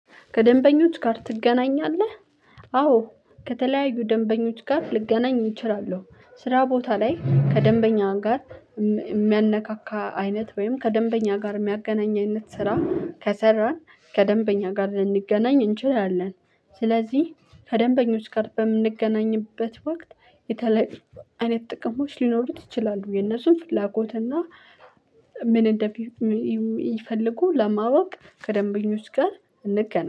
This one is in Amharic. ከደንበኞች ጋር ትገናኛለህ? አዎ ከተለያዩ ደንበኞች ጋር ልገናኝ እችላለሁ ስራ ቦታ ላይ ከደንበኛ ጋር የሚያነካካ አይነት ወይም ከደንበኛ ጋር የሚያገናኝ አይነት ስራ ከሰራን ከደንበኛ ጋር ልንገናኝ እንችላለን ስለዚህ ከደንበኞች ጋር በምንገናኝበት ወቅት የተለያዩ አይነት ጥቅሞች ሊኖሩት ይችላሉ። የነሱን ፍላጎት እና ምን እንደሚሉ ይፈልጉ ለማወቅ ከደንበኞች ጋር እንገናኝ